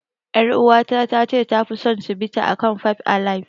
Yar uwata ta ce tafi son Cibita akan fab alaib.